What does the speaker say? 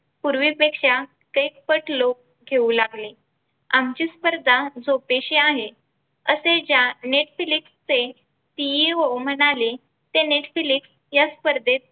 पूर्वीपेक्षा कैकपट लोक घेऊ लागले. आमची स्पर्धा झोपेशी आहे असे त्या Netflix चे CEO म्हणाले ते Netflix या स्पर्धेत